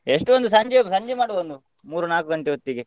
ಎಷ್ಟು ಒಂದು ಸಂಜೆ ಸಂಜೆ ಮಾಡುವ ಒಂದು ಮೂರು ನಾಲ್ಕು ಗಂಟೆ ಹೊತ್ತಿಗೆ.